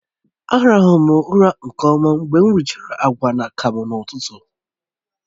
Á ràhụrụ m ụra nke ọma mgbe m richara agwa na akamu n'ụtụtụ